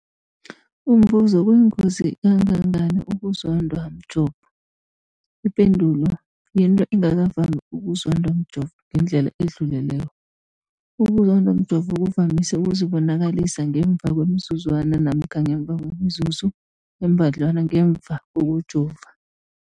Umbuzo, kuyingozi kangangani ukuzondwa mjovo? Ipendulo, yinto engakavami ukuzondwa mjovo ngendlela edluleleko. Ukuzondwa mjovo kuvamise ukuzibonakalisa ngemva kwemizuzwana namkha ngemva kwemizuzu embadlwana ngemva kokujova.